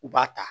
U b'a ta